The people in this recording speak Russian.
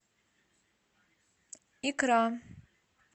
икра